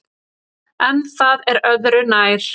En það er öðru nær.